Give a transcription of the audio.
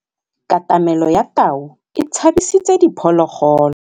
Katamêlô ya tau e tshabisitse diphôlôgôlô.